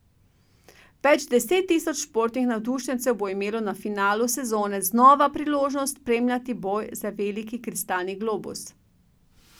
Več deset tisoč športnih navdušencev bo imelo na finalu sezone znova priložnost spremljati boj za veliki kristalni globus.